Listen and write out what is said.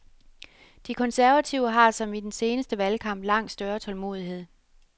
De konservative har, som i den seneste valgkamp, langt større tålmodighed.